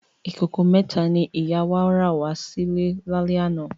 Ikókó mètá ni ìyá wá rá wà silè lálè àná